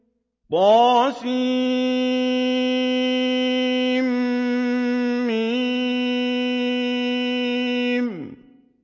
طسم